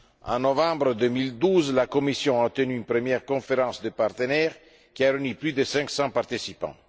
En novembre 2012, la Commission a tenu une première conférence des partenaires, qui a réuni plus de 500 participants.